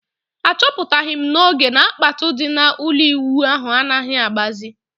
A chọpụtaghi m n'oge na kpatụ di na ụlọ ịwụ ahụ anaghị agbazi